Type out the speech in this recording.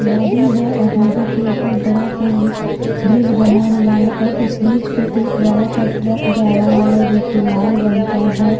नदी हैऔर नदी के ऊपर बड़ा सा एक ब्रिज बना हुआ है और उस ब्रिज पर एक बड़ा सा ट्रक जा रहा है जोकि लाल रंग का है।